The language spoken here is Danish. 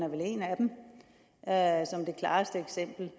er vel som det klareste eksempel